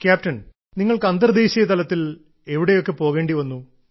captain നിങ്ങൾക്ക് അന്തർദേശീയതലത്തിൽ എവിടെയൊക്കെ പോകേണ്ടി വന്നു